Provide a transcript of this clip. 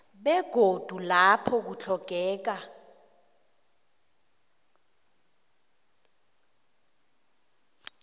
begodu lapho kutlhogekako